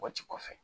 Bɔti kɔfɛ